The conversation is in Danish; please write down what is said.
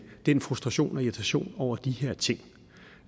den frustration og irritation over de her ting